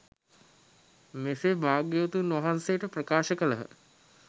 මෙසේ භාග්‍යවතුන් වහන්සේට ප්‍රකාශ කළහ.